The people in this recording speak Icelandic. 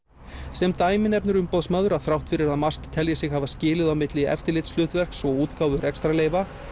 sem dæmi nefnir Umboðsmaður að þrátt fyrir að MAST telji sig hafa skilið á milli eftirlitshlutverks og útgáfu rekstrarleyfa